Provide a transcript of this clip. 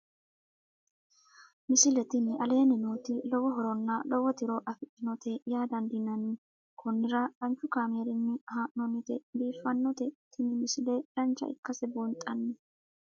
misile tini aleenni nooti lowo horonna lowo tiro afidhinote yaa dandiinanni konnira danchu kaameerinni haa'noonnite biiffannote tini misile dancha ikkase buunxanni